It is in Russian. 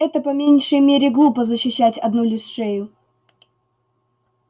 это по меньшей мере глупо защищать одну лишь шею